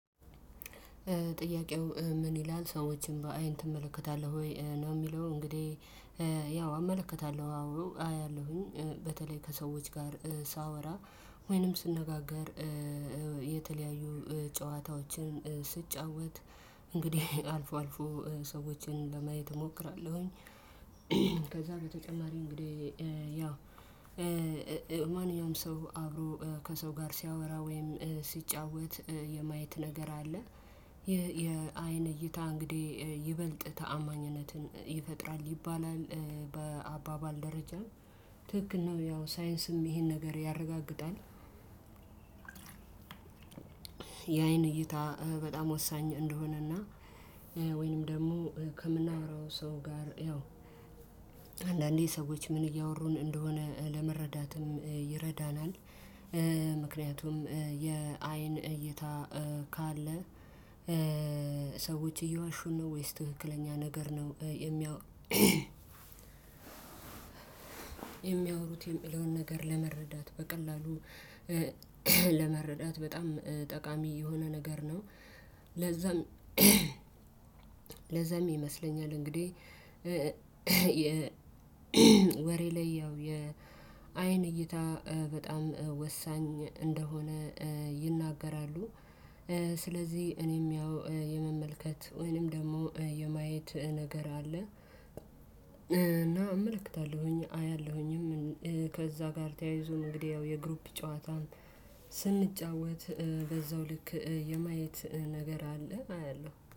ጥያቄው ምን ይላል ሰዎችን በአይን ትመለከታለህ ወይ? ነው የሚለው እንግዲህ ያው አመለከታለሁ፣ አዎ አያለሁኝ። በተለይ ከሰዎች ጋር ሳወራ ወይንም ስነጋገር የተለያዩ ጨዋታዎችን ስጫወት እንግዲህ አልፎ አልፎ ሰዎችን ለማየት እሞክራለሁኝ። ከዛ በተጨማሪ እንግዲህ ያ ማንኛውም ሰው አብሮ ከሰው ጋር ሲያወራ ወይም ሲጫወት የማየት ነገር አለ። የየአይን እይታ እንግዲህ ይበልጥ ተአማኝነትን ይፈጥራል ይባላል። በአባባል ደረጃ ትክክል ነው። ያው ሳይንስም ይሄን ነገር ያረጋግጣል። የአይን እይታ በጣም ወሳኝ እንደሆነና ወይንም ደግሞ ከምናወራው ሰው ጋር ያው አንዳንዴ ሰዎች ምን እያወሩን እንደሆነ ለመረዳትም ይረዳናል። ምክንያቱም የአይን እይታ ካለ ሰዎች እየዋሹን ነው ወይስ ትክክለኛ ነገር ነው የሚያው የሚያወሩት የሚለውን ነገር ለመረዳት በቀላሉ ለመረዳት በጣም ጠቃሚ የሆነ ነገር ነው። ለዛም ለዛም ይመስለኛል እንግዲህ ወሬ ላይ ያው የአይን እይታ በጣም ወሳኝ እንደሆነ ይናገራሉ። ስለዚህ እኔም ያው የመመልከት ወይንም ደግሞ የማየት ነገር አለ። እና እመለከታለሁኝ፣ አያለሁኝም ከዛ ጋር ተያይዞ እንግዲህ ያው የግሩፕ ጨዋታን ስንጫወት በዛው ልክ የማየት ነገር አለ አያለሁ።